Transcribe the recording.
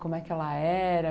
Como é que ela era...?